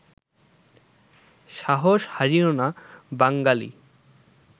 সাহস হারিয়ো না বাঙ্গালী